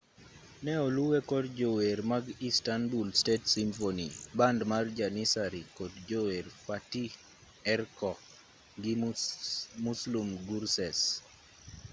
ne oluwe kod jower mag istanbul state symphony band mar janissary kod jower fatih erkoc gi muslum gurses